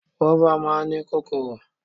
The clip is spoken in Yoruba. Gúrófà máa ń ní kóóró.